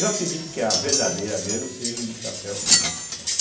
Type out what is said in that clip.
Eu acredito que a verdadeira mesmo seja do chapéu de bico, né?